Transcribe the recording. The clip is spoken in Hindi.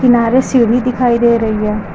सीढ़ी दिखाई दे रही है।